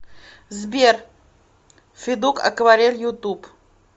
сбер федук акварель ютуб